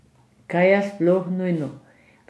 Kaj je sploh nujno?